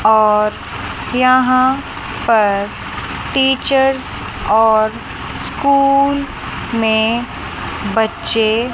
और यहां पर टीचर्स और स्कूल में बच्चे--